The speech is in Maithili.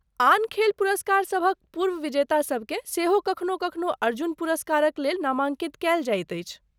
आन खेल पुरस्कारसभक पूर्व विजेतासबकेँ सेहो कखनो कखनो अर्जुन पुरस्कारक लेल नामाङ्कित कयल जाइत अछि।